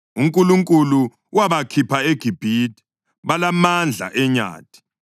UNkulunkulu wabakhipha eGibhithe; balamandla enyathi.